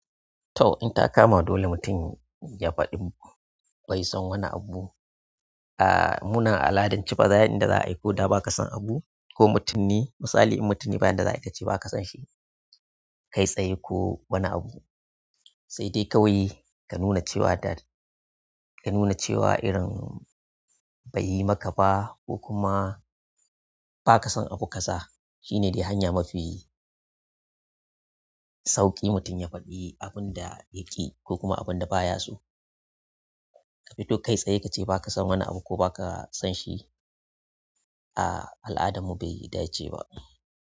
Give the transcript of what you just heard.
To, in ta kama dole mutum ya faɗi bai son wani abu. Aaa munan a al'adance yanda za a yi ko da ba ka san abu ko mutum ne misali in mutum ne bayan da za'a yi ka ce ba ka san shi, kai tsaye ko wani abu. Saidai kawai ka nuna cew irin beyi maka ba kokuma ba ka san abu kaza shine dai hanya mafi sauƙi mutum ya faɗi abun da yaƙi ko kuma abun da baya so. Ka fito kai tsaye ka ce ba ka san wani abu ko ba ka san shi, aa al'adarmu bai dace ba.